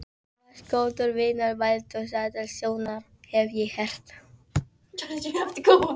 Þú varst góður vinur Baldurs Aðalsteinssonar, hef ég heyrt